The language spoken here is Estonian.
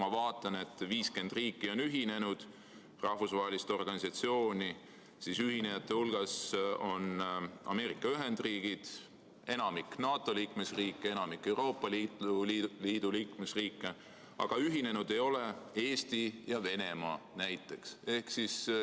Ma vaatan, et ühinenud on 50 riiki ja rahvusvahelist organisatsiooni, ühinejate hulgas on Ameerika Ühendriigid, enamik NATO liikmesriike, enamik Euroopa Liidu liikmesriike, aga ühinenud ei ole näiteks Eesti ja Venemaa.